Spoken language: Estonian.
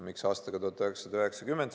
Miks aastaga 1990?